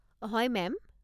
হয়, মেম।